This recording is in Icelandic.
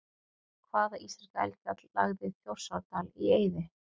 Hvaða íslenska eldfjall lagði Þjórsárdal í eyði?